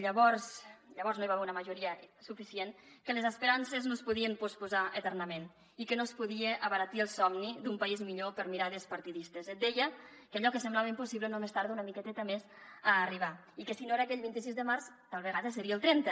llavors no hi va haver una majoria suficient que les esperances no es podien posposar eternament i que no es podia abaratir el somni d’un país millor per mirades partidistes et deia que allò que semblava impossible només tarda una miqueteta més a arribar i que si no era aquell vint sis de març tal vegada seria el trenta